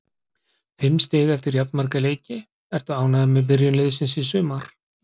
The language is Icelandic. Fimm stig eftir jafnmarga leiki, ertu ánægður með byrjun liðsins í sumar?